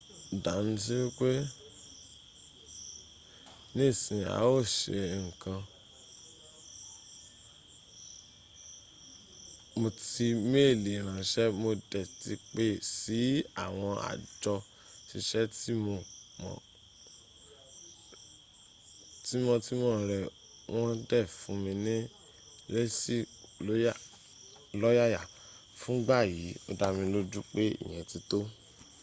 daniusi wipe nisin a o se nkankan mo ti meeli ranse mo de ti pe si awon ajo sise timo timo re won de fun mi lesi to loyaya fun igba yi o daniloju pe iyen ti to